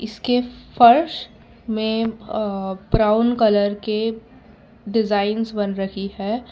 इसके फर्श में अ ब्राउन कलर के डिजाइंस बन रही है।